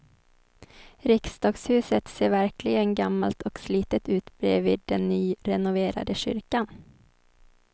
Riksdagshuset ser verkligen gammalt och slitet ut bredvid den nyrenoverade kyrkan.